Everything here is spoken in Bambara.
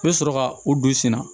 I bɛ sɔrɔ ka o don i sen na